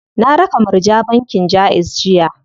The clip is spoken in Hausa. Na raka Murja bankin Jaiz jiya.